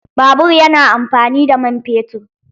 Babur ya na amfani da man fetur.